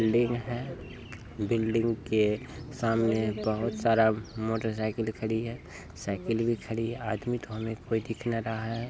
Building है building के सामने बहुत सारा मोटरसाइकिल खड़ी है साइकिल भी खड़ी है आदमी तो हमें कोई दिखे ना रहा है।